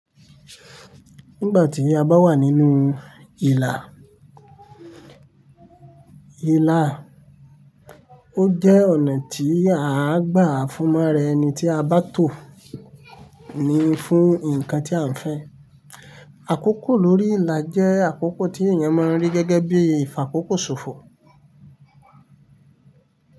Nígbà tí a bá wà nínú ìlà, ìlà, ó jẹ́ ọ̀nà tí àá gbà fúnmọ́ ra ẹni tí a bá tò ní fún nǹkan tí à ń fẹ́. Àkókò lórí ìlà jẹ́ àkókò tí èèyàn máa ń rí gẹ́gẹ́ bí ìfàkókò ṣòfò.